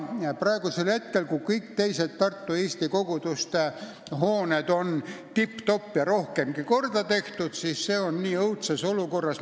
Praegu, kui kõik teised Tartu eesti koguduste hooned on tipp-topp ja rohkemgi veel korda tehtud, on see õudses olukorras.